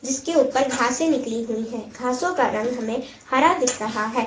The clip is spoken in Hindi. इसके ऊपर घासें निकली हुई हैं घासों का रंग हमें हरा दिख रहा है।